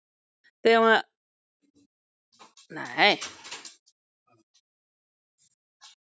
Þegar mér varð litið fram stóð hann inni í stofu og var að skoða stólinn.